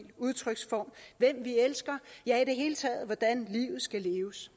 udtryksform hvem vi elsker ja i det hele taget hvordan livet skal leves